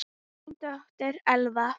Þín dóttir, Elfa.